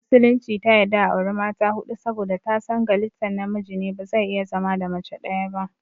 Musulunci ta yadda a auri mata huɗu saboda ta san galittan namiji ne bazai iya zama da mace ɗaya ba